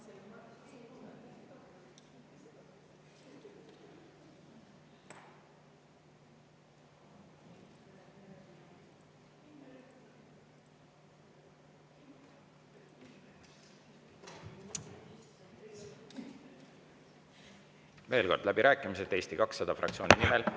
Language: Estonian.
Veel kord: läbirääkimised Eesti 200 fraktsiooni nimel.